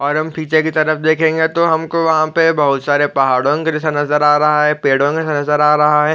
और हम पीछे कि तरफ देखेंगे तो हमको वहाँ पे बहुत सरे पहाड़ों दृश्य नज़र आ रहा है पेड़ो का दृश्य नज़र आ रहा है।